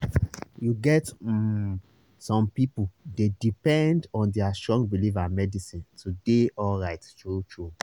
you get um some people dey depend on their strong belief and medicine to dey alright true-true